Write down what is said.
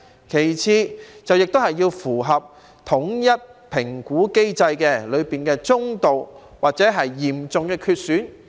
其次，亦要符合統一評估機制的身體機能中度或嚴重缺損。